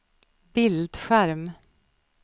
bildskärm